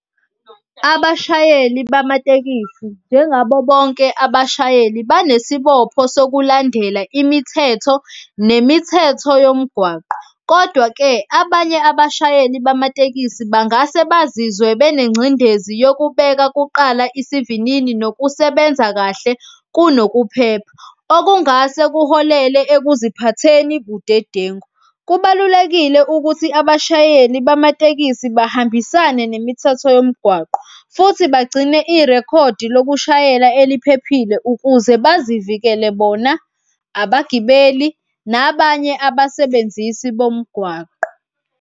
Abashayeli bamatekisi njengabo bonke abashayeli banesibopho sokulandela imithetho nemithetho yomgwaqo. Kodwa-ke abanye abashayeli bamatekisi bangase bazizwe benengcindezi yokubeka kuqala isivinini nokusebenza kahle kunokuphepha, okungase kuholele ekuziphatheni budedengu. Kubalulekile ukuthi abashayeli bamatekisi bahambisane nemithetho yomgwaqo futhi bagcine irekhodi lokushayela eliphelile ukuze bazivikele bona abagibeli, nabanye abasebenzisi bomgwaqo.